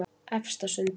Efstasundi